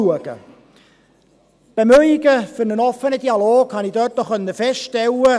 Die Bemühungen für einen offenen Dialog konnte ich dort feststellen.